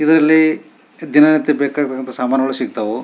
ಇದು ಇಲ್ಲಿ ದಿನ ನಿತ್ಯ ಬೇಕಾಗುವಂತಹ ಸಾಮಾನುಗಳು ಸಿಗ್ತಾವು.